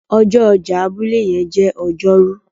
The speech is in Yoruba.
ọjọ ọjà abúlé yen jé Ọjọ́ Rú